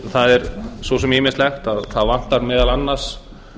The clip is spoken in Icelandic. það er svo sem ýmislegt það vantar meðal annars